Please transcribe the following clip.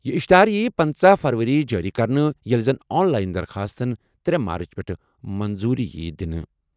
یہِ اِشتِہار یِیہِ پٕنژٕہ فروری جٲری کرنہٕ، ییٚلہِ زن آن لایِن درخاستَن ترے مارٕچ پٮ۪ٹھٕ منظوٗری یِیہِ دِنہٕ۔